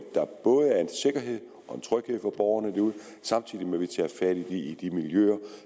sikkerhed og en tryghed for borgerne derude samtidig med at vi tager fat i de miljøer